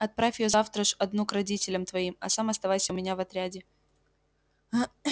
отправь её завтра ж одну к родителям твоим а сам оставайся у меня в отряде